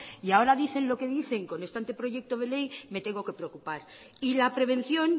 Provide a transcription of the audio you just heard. y ahora dicen lo que dicen con este anteproyecto de ley me tengo que preocupar y la prevención